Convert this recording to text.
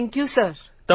thank you sir